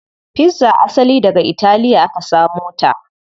Pizza asali daga italiya aka samo ta.